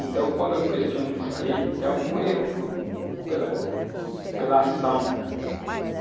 Então, quando eu questiono isso aí, tem algum erro por, pela ação.